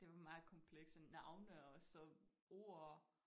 Det var meget komplekse navne og så ord